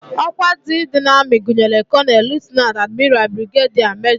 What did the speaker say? Ọkwa ndị dị n'amị gụnyere kọnel, lutenant, admiral, brigediya, mejọ